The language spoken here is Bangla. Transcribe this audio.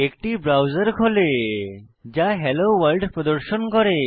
একটি ব্রাউজার খোলে যা হেলো ভোর্ল্ড প্রদর্শন করে